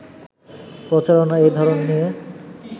প্রচারণার এই ধরণ নিয়ে